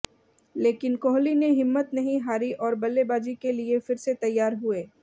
लेकिन कोहली ने हिम्मत नहीं हारी और बल्लेबाजी के लिए फिर से तैयार हुए